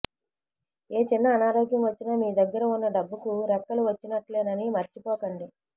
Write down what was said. ఏ చిన్న అనారోగ్యం వచ్చినా మీ దగ్గర ఉన్న డబ్బుకు రెక్కలు వచ్చినట్లేనని మర్చిపోకండి